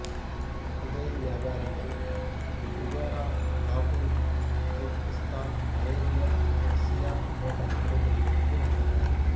குதிரை வியாபாரிகள் Bukhara Kabul Turkistan Arabia Persia போன்ற நாடுகளில் இருந்து வந்தனர்